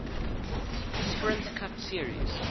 sprint cup series